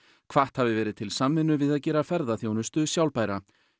hvatt hafi verið til samvinnu við að gera ferðaþjónustu sjálfbæra